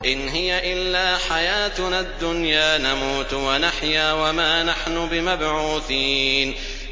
إِنْ هِيَ إِلَّا حَيَاتُنَا الدُّنْيَا نَمُوتُ وَنَحْيَا وَمَا نَحْنُ بِمَبْعُوثِينَ